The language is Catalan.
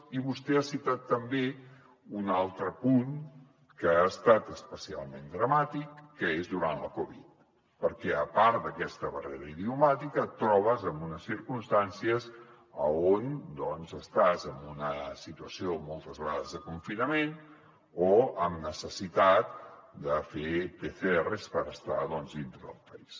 i vostè ha citat també un altre punt que ha estat especialment dramàtic que és durant la covid perquè a part d’aquesta barrera idiomàtica et trobes en unes circumstàncies on estàs en una situació moltes vegades de confinament o amb necessitat de fer pcrs per estar doncs dintre del país